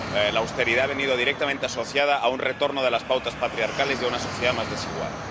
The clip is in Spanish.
La austeridad ha venido directamente asociada a un retorno de las pautas patriarcales y a una sociedad más desigual.